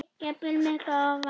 jafnvel miklu ofar.